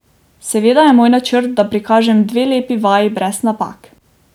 Seveda je moj načrt, da prikažem dve lepi vaji brez napak.